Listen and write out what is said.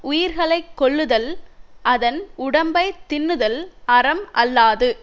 உயிர்களைக்கொள்ளுதல் அதன் உடம்பை தின்னுதல் அறம் அல்லாது